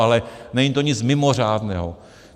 Ale není to nic mimořádného.